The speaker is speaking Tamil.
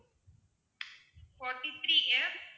forty-three F